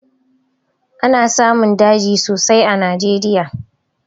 Ana samun daji sosai a najeriya